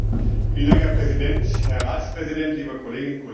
Herr Präsident, Herr Ratspräsident, liebe Kolleginnen und Kollegen!